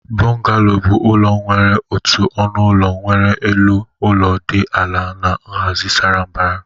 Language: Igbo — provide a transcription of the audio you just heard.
Bungalows bụ ụlọ nwere otu ọnụ ụlọ nwere elu ụlọ dị ala na nhazi sara mbara